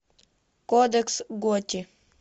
кодекс готти